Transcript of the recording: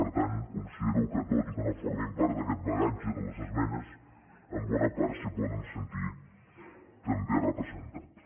per tant considero que tot i que no formin part d’aquest bagatge de les esmenes en bona part s’hi poden sentir també representats